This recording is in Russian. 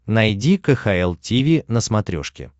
найди кхл тиви на смотрешке